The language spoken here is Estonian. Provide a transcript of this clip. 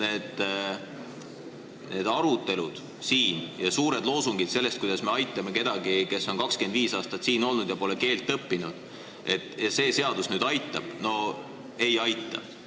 Aga need arutelud siin, suured loosungid, kuidas me aitame kedagi, kes on 25 aastat siin olnud ja pole keelt õppinud, ja et see seadus nüüd aitab – no ei aita.